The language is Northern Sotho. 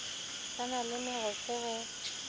ba na le mogofe ge